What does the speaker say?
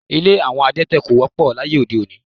Ilé àwọn adẹ́tẹ̀ ko wọ́pọ̀ láyé ode-òní